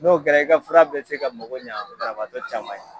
N'o kɛra i ka fura bɛ se ka mago ɲa banabaatɔ caman ye.